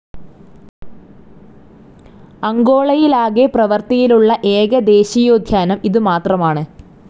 അംഗോളയിലാകെ പ്രവർത്തിയിലുള്ള ഏക ദേശീയോദ്യാനം ഇത് മാത്രമാണ്.